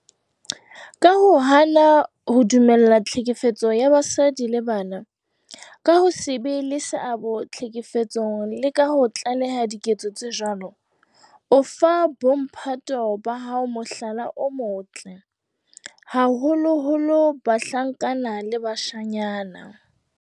Ka ho hana ho dumella tlhekefetso ya basadi le bana, ka ho se be le seabo tlhekefetsong le ka ho tlaleha diketso tse jwalo, o fa bo mphato ba hao mohlala o motle, haholoholo bahlankana le bashanyana.